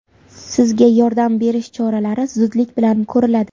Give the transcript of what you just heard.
Sizga yordam berish choralari zudlik bilan ko‘riladi!